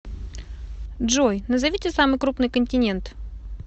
джой назовите самый крупный континент